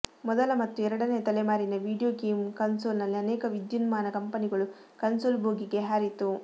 ಮೊದಲ ಮತ್ತು ಎರಡನೆಯ ತಲೆಮಾರಿನ ವಿಡಿಯೋ ಗೇಮ್ ಕನ್ಸೋಲ್ನಲ್ಲಿ ಅನೇಕ ವಿದ್ಯುನ್ಮಾನ ಕಂಪನಿಗಳು ಕನ್ಸೋಲ್ ಭೋಗಿಗೆ ಹಾರಿತು